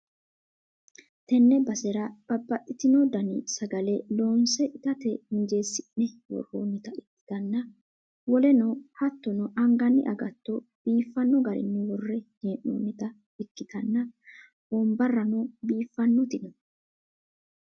tenne basera bababxxitino dani sagale loonse itate injeesi'ne worroonnita ikkitanna, woleno hattono anganni agatto biifanno garinni worre hee'noonnita ikkitanna, wonbarrano biiffannoti no.